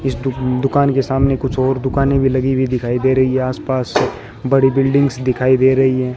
इस दु दुकान के सामने कुछ ओर दुकानें भी लगी हुई दिखाई दे रही है आसपास बड़ी बिल्डिंग्स दिखाई दे रही है।